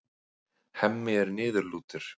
Hemmi er niðurlútur.